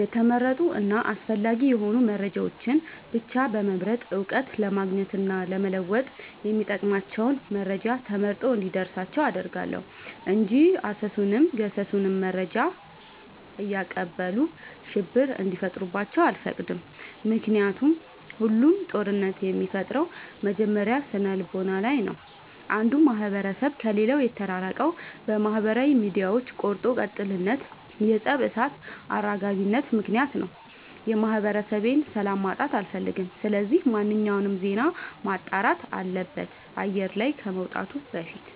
የተመረጡ እና አስፈላጊ የሆኑ መረጃዎችን ብቻ በመምረጥ እውቀት ለማግኘት እና ለመወጥ የሚጠቅሟቸውን መረጃ ተመርጦ እንዲደርሳቸው አደርጋለሁ። እንጂ አሰሱንም ገሰሱንም መረጃ እያቀበሉ ሽብር እንዲፈጥሩባቸው አልፈቅድም ምክንያቱም ሁሉም ጦርነት የሚፈጠረው መጀመሪያ ስነልቦና ላይ ነው። አንዱ ማህበረሰብ ከሌላው የተራራቀው በማህበራዊ ሚዲያዎች ቆርጦ ቀጥልነት የፀብ እሳት አራጋቢነት ምክንያት ነው። የማህበረሰቤን ሰላም ማጣት አልፈልግም ስለዚህ ማንኛውም ዜና መጣራት አለበት አየር ላይ ከመውጣቱ በፊት።